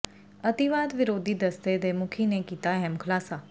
ਅਤਿਵਾਦ ਵਿਰੋਧੀ ਦਸਤੇ ਦੇ ਮੁਖੀ ਨੇ ਕੀਤਾ ਅਹਿਮ ਖੁਲਾਸਾ